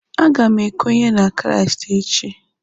A ga m ekwenye na Kraịst echi.